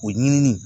O ɲinini